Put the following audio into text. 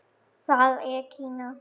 Það er Kína.